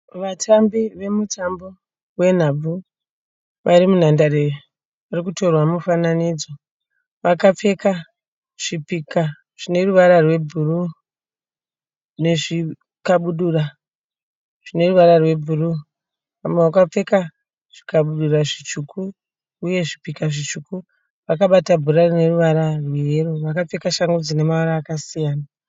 Vatambi vemutambo wenhabvu. Vari munhandare vari kutorwa mufananidzo. Vakapfeka zvipika zvine ruvara rwebhuruu nezvikabudura zvine ruvara rwebhuruu. Vamwe vakapfeka zvikabudura zvitsvuku uye zvipika zvitsvuku vakabata bhora rine ruvara rweyero. Vakapfeka shangu dzine mavara akasiyana.